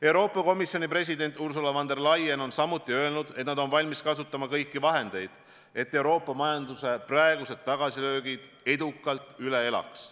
Euroopa Komisjoni president Ursula von der Leyen on öelnud, et nad on samuti valmis kasutama kõiki vahendeid, et Euroopa majanduse tagasilöögid edukalt üle elaks.